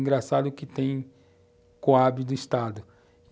Engraçado que tem Coab do Estado.